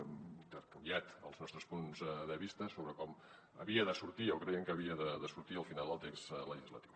hem intercanviat els nostres punts de vista sobre com havia de sortir o deien que havia de sortir al final el text legislatiu